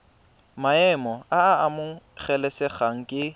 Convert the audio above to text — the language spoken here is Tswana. maemo a a amogelesegang ke